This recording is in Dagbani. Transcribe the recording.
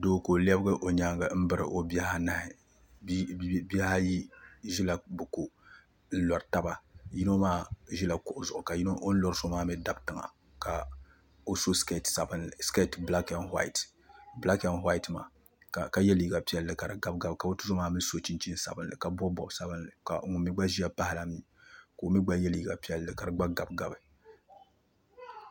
Doo ka o lɛbigi o nini n biri o bihi anahi bihi ayi ʒila bi ko yino ʒila kuɣu zuɣu ka o ni lori so maa mii dabi tiŋa ka o so skɛt bilak ɛnd whait ka yɛ liiga sabinli ka di gabi zaɣ piɛla ka o tuzo maa mii so chinchin sabinli ka bob bob sabinli ka ŋun mii gba ʒiya pahala mii ka o mii gba yɛ liiga piɛlli ka di gba gabigabi